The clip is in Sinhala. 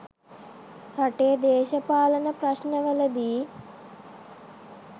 රටේ දේශපාලන ප්‍රශ්නවලදි